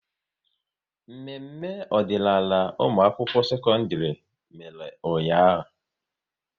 Mmemme ọdịnaala ụmụakwụkwọ sekọndịrị mere ụnyaahụ